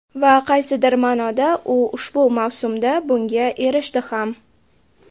Va qaysidir ma’noda u ushbu mavsumda bunga erishdi ham.